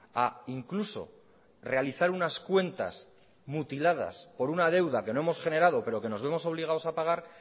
a incluso realizar unas cuentas mutiladas por una deuda que no hemos generado pero que nos vemos obligados a pagar